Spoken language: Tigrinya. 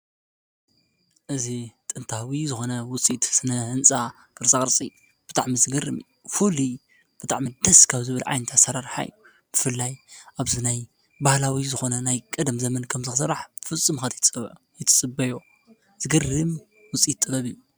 እዚ ጥንታዊ ዝኮነ ዉጽኢት ስነ ህንጻ ቅርጻ ቅርጺ ብጣዕሚ ዝገርም ፉሉይ ብጣዕሚ ደስ ካብ ዝብል ዓይነት ኣሰራርሓ እዩ ። ብፍላይ ኣብዚ ናይ ባህላዊ ዝኮነ ናይ ቀደም ዘመን ከምዚ ክስራሕ ፍፁም ኢካ ዘይትጽብዮ ዝገርም ዉጽኢት ጥበብ እዩ።